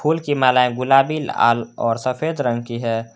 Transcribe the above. फूल की मालाएं गुलाबी लाल और सफेद रंग की है।